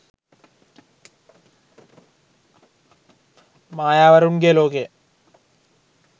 mayawarunge lokaya